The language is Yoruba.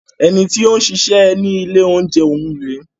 Ẹni tí ó ń ṣiṣẹ́ ni ilé oúnjẹ ọ̀ún rèé.